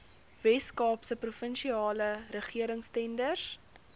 weskaapse provinsiale regeringstenders